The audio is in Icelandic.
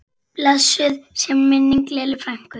Blessuð sé minning Lillu frænku.